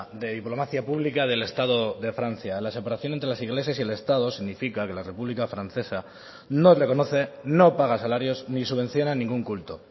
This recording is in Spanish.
de diplomacia pública del estado de francia la separación entre las iglesias y el estado significa que la república francesa no reconoce no paga salarios ni subvenciona ningún culto